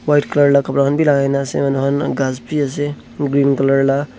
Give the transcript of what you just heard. white colour lah kapra khan bhi lagai na ase manu khan ghass bi ase green colour lah.